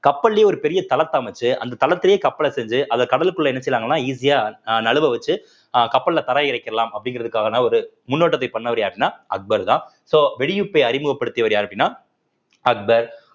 கப்பல்லயே ஒரு பெரிய தளத்தை அமைச்சு அந்த தளத்திலேயே கப்பலை செஞ்சு அத கடலுக்குள்ள என்ன செய்றாங்கன்னா easy அ அஹ் நழுவ வச்சு அஹ் கப்பல்ல தரை இறக்கிரலாம் அப்படிங்கிறதுக்கான ஒரு முன்னோட்டத்தை பண்ணவரு யாருன்னா அக்பர்தான் so வெடியுப்பை அறிமுகப்படுத்தியவர் யாரு அப்படின்னா அக்பர்